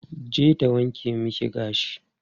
Je ta wanke miki gashi.